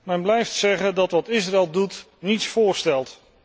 Men blijft zeggen dat wat Israël doet, niets voorstelt.